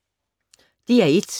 DR1